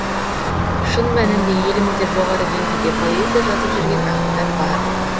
шын мәнінде елімізде жоғары деңгейде поэзия жазып жүрген ақындар бар